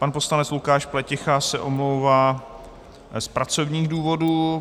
Pan poslanec Lukáš Pleticha se omlouvá z pracovních důvodů.